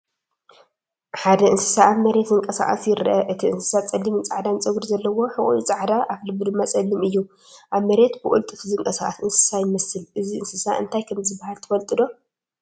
ሓደ እንስሳ ኣብ መሬት ዝንቀሳቐስ ይርአ። እቲ እንስሳ ጸሊምን ጻዕዳን ጸጉሪ ዘለዎ፡ ሕቖኡ ጻዕዳ፡ ኣፍልቡ ድማ ጸሊም እዩ። ኣብ መሬት ብቕልጡፍ ዝንቀሳቐስ እንስሳ ይመስል። እዚ እንስሳ እንታይ ከም ዝብሃል ትፈልጡ ዶ?